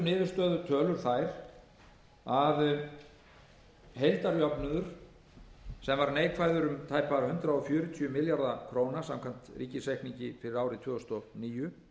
niðurstöðutölur þær að heildarjöfnuður sem var neikvæður um tæpa hundrað fjörutíu milljarða króna samkvæmt ríkisreikningi fyrir árið tvö þúsund og níu